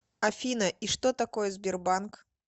афина и что такое сбербанк